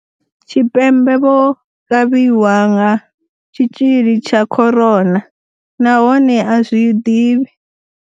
Tshipembe vho kavhiwa nga tshitzhili tsha corona, nahone a zwi ḓivhi.